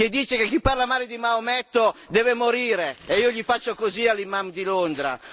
che dice che chi parla male di Maometto deve morire e io gli faccio così all'imam di Londra.